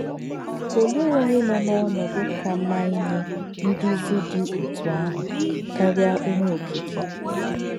Olè̄ ònyè̄ nọ̄ n’ònòdú̄ kà má̄ ínyè̄ ndúzì dị̄ òtú̄ àhụ̄ kárìá̄ Onyè̄ Ókì̄kè̄?